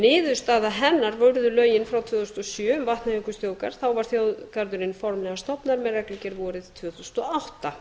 niðurstaða hennar urðu lögin frá tvö þúsund og sjö um vatnajökulsþjóðgarð þá var þjóðgarðurinn formlega stofnaður með reglugerð vorið tvö þúsund og átta